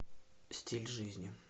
стиль жизни